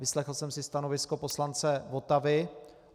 Vyslechl jsem si stanovisko poslance Votavy.